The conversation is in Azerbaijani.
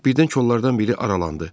Birdən kollardan biri aralandı.